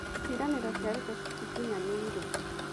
Ciĩranĩro cia Ruto citikinyanĩire.